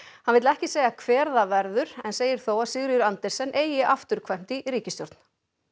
hann vill ekki segja hver það verður en segir þó að Sigríður Andersen eigi afturkvæmt í ríkisstjórn